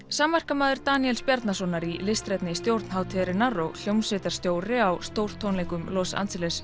samverkamaður Daníels Bjarnasonar í listrænni stjórn hátíðarinnar og hljómsveitarstjóri á stórtónleikum Los Angeles